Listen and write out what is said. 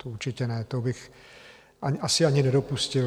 To určitě ne, to bych asi ani nedopustil.